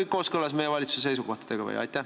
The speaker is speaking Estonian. See on kõik kooskõlas meie valitsuse seisukohtadega või?